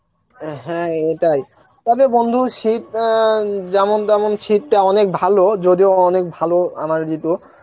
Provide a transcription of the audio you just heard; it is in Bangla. অ্যাঁ হ্যাঁ এটাই তবে বন্ধু শীত এন, যেমন তেমন শীতটা অনেক ভালো যদিও অনেক ভালো আমার ঋতু,